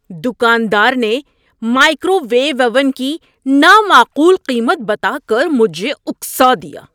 دکاندار نے microwave oven کی نامعقول قیمت بتا کر مجھے اکسا دیا۔